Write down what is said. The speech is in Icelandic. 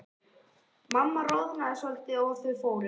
Mamma roðnaði svolítið og þau fóru.